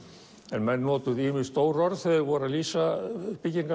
en menn notuðu ýmis stór orð þegar þeir voru að lýsa